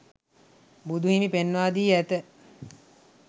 බුදු හිමි පෙන්වා දී ඇත